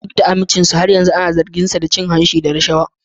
Duk da amincinsa, har yanzu ana zarginsa da cin hanci da rashawa.